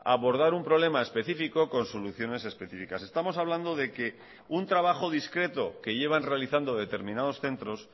abordar un problema específico con soluciones específicas estamos hablando de que un trabajo discreto que llevan realizando determinados centros